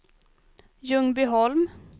Ljungbyholm